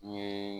N ye